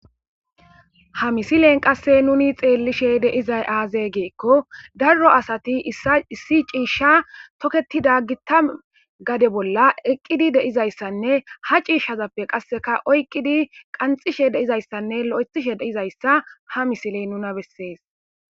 ha misilen qasse nuni xeellishe deizay aazee geekko darro asati ia issi ciishsha toketida gitta gade bolla eqqidi deizayssanne ha ciishshazappe qasseka oyqqidi qanxishe deizayssanne lo7ethishe deizayssa ha misiley nuna bessees